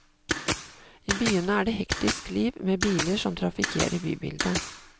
I byene er det hektisk liv med biler som trafikkerer bybildet.